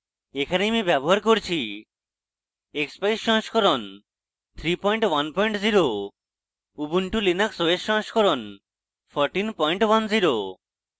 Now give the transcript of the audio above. এখানে আমি ব্যবহার করছি